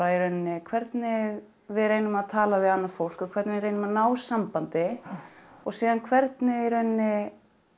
í rauninni hvernig við reynum að tala við annað fólk og hvernig við reynum að ná sambandi og síðan hvernig í rauninni